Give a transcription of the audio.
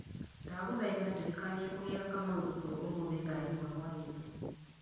ndagũthaitha ndirikania kũgĩra kamau thukuru ũmũthĩ thaa ĩmwe hwaĩ-inĩ